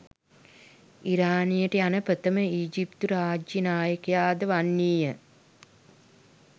ඉරානයට යන ප්‍රථම ඊජිප්තු රාජ්‍ය නායකයාද වන්නේය